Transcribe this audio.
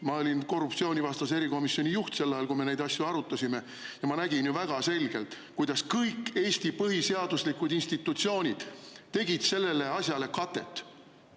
Ma olin korruptsioonivastase erikomisjoni juht sel ajal, kui me neid asju arutasime, ja ma nägin ju väga selgelt, kuidas kõik Eesti põhiseaduslikud institutsioonid tegid sellele asjale katet.